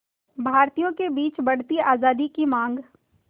भारतीयों के बीच बढ़ती आज़ादी की मांग